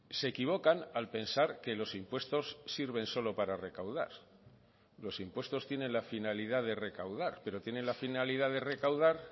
se equivocan al pensar que los impuestos sirven solo para recaudar los impuestos tienen la finalidad de recaudar pero tienen la finalidad de recaudar